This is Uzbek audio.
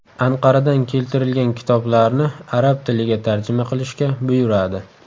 Anqaradan keltirilgan kitoblarni arab tiliga tarjima qilishga buyuradi.